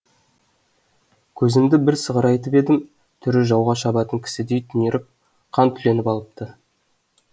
көзімді бір сығырайтып едім түрі жауға шабатын кісідей түнеріп қан түленіп алыпты